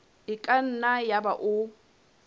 e ka nna yaba o